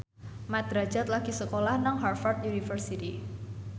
Mat Drajat lagi sekolah nang Harvard university